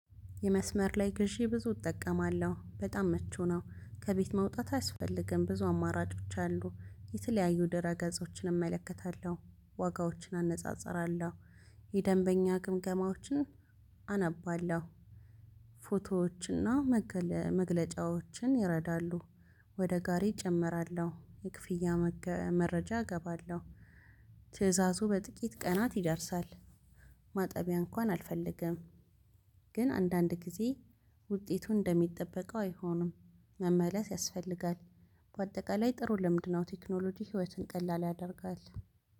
የመስመር ላይ ግዢ ብዙ እጠቀማለሁ። በጣም ምቹ ነው። ከቤት መውጣት አያስፈልግም ብዙ አማራጮች አሉ። የተለያዩ ድረገጾችን እመለከታለሁ። ዋጋዎችን አነጻጽራለሁ። የደንበኛ ግምገማዎችን አነባለሁ። ፎቶዎችና መግለጫዎችን ይረዳሉ። ወደ ጋሪ እጨምራለሁ። የክፍያ መረጃ እገባለሁ። ትእዛዙ በጥቂት ቀናት ይደርሳል። ማጠቢያ እንኳን አልፈለግም። ግን አንዳንድ ጊዜ ውጤቱን እንደሚጠበቀው አይሆንም። መመለስ ያስፈልጋል። በአጠቃላይ ጥሩ ልምን ነው ቴክኖሎጂ ህይወትን ቀላል ያደርጋል።